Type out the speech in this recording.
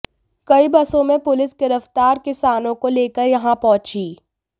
कई बसों में पुलिस गिरफ्तार किसानों को लेकर यहां पहुंची